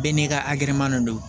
Bɛɛ n'i ka akɛman don